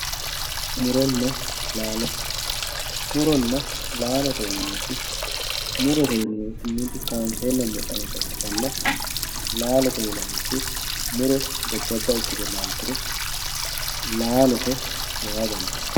Muronna laalo muronna laalote yineemoti murote yinaniti mite kaansena fulitanota ikitana laalote yinaniti muro jajaba ikite laalturo laalote yaa dandinani